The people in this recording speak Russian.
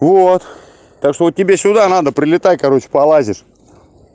вот так что вот тебе сюда надо прилетай короче полазишь